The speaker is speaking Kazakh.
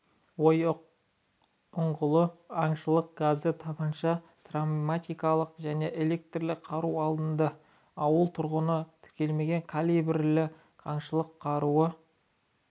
ойықұңғылы аңшылық газды тапанша травматикалық және электрлі қару алынды ауыл тұрғынынан тіркелмеген калибрлі аңшылық қаруы